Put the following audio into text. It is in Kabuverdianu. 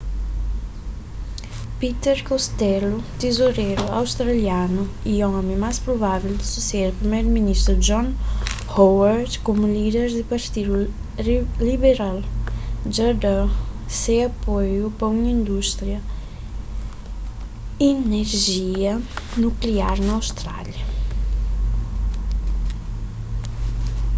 peter costello tizoreru australianu y omi más provável di susede priméru ministru john howard komu líder di partidu liberal dja dá se apoiu pa un indústria di inerjia nukliar na austrália